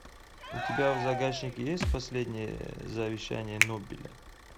у тебя в загашнике есть последнее завещание нобеля